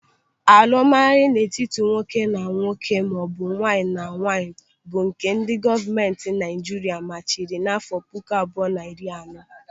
Alụmalụ n'etiti nwoke na nwoke maọbụ nwaanyị na nwaanyị bụ nke ndị gọọmenti Naịjiria machiri n'afọ puku abụọ na iri na anọ.